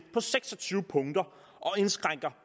på seks og tyve punkter og indskrænker